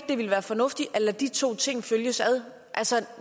det ville være fornuftigt at lade de to ting følges ad